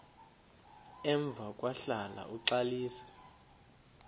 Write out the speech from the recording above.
emva kwahlala uxalisa